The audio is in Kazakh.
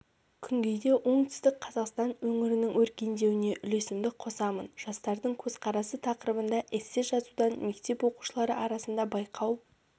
күнгейде оңтүстік қазақстан өңірінің өркендеуіне үлесімді қосамын жастардың көзқарасы тақырыбында эссе жазудан мектеп оқушылары арасында байқау